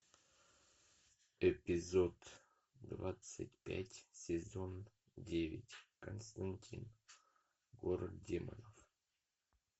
эпизод двадцать пять сезон девять константин город демонов